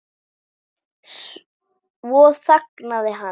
Svo þagnaði hann.